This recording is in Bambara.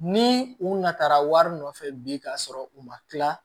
Ni u natara wari nɔfɛ bi ka sɔrɔ u ma tila